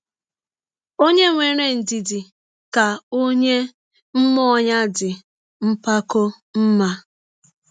Ọnye nwere ndidi ka ọnye mmụọ ya dị mpakọ mma. ”